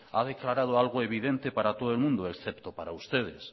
ha declarado algo evidente para todo el mundo excepto para ustedes